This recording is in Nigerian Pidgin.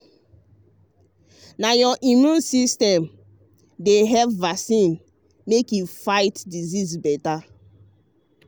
na your immune system vaccine dey help to fit fight disease better.